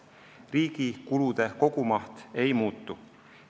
Riigi kulude kogumaht ei muutu.